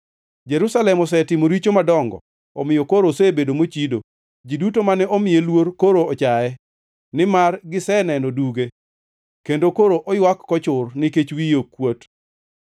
Jerusalem osetimo richo madongo omiyo koro osebedo mochido. Ji duto mane omiye luor koro ochaye, nimar giseneno duge; kendo koro oywak kochur nikech wiye kuot.